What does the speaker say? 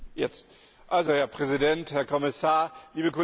Herr Präsident, Herr Kommissar, liebe Kolleginnen und Kollegen!